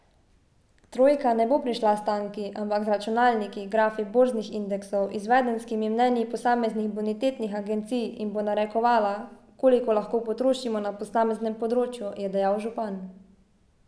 Trojka ne bo prišla s tanki, ampak z računalniki, grafi borznih indeksov, izvedenskimi mnenji posameznih bonitetnih agencij in bo narekovala, koliko lahko potrošimo na posameznem področju, je dejal župan.